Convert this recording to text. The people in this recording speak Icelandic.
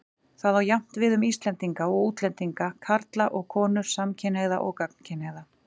Það á jafnt við um Íslendinga og útlendinga, karla og konur, samkynhneigða og gagnkynhneigða.